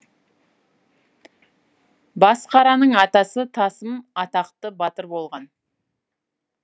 басқараның атасы тасым атақты батыр болған